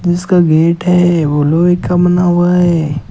जिसका गेट है वो लोहे का बना हुआ है।